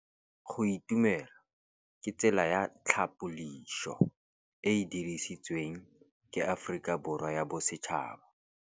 Go itumela ke tsela ya tlhapolisô e e dirisitsweng ke Aforika Borwa ya Bosetšhaba.